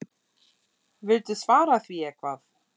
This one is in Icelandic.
Viltu svara því eitthvað?